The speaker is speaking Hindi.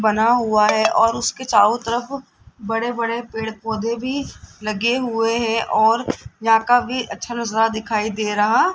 बना हुआ है और उसके चारों तरफ बड़े-बड़े पेड़-पौधे भी लगे हुए हैं और यहां काफी अच्छा नजारा --